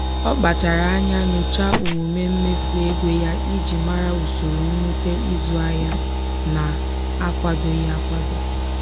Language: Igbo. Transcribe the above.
ọ kpachara anya nyochaa omume mmefu ego ya iji mara usoro mwute ịzụ ahịa na-akwadoghị akwado.